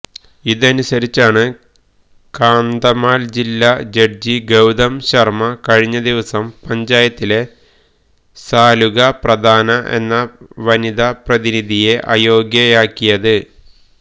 ഇതനുസരിച്ചാണ് കാന്ധമാല് ജില്ലാ ജഡ്ജി ഗൌതം ശര്മ കഴിഞ്ഞ ദിവസം പഞ്ചായത്തിലെ സാലുഗ പ്രധാന എന്ന വനിത പ്രതിനിധിയെ അയോഗ്യയാക്കിയത്